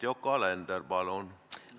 Yoko Alender, palun!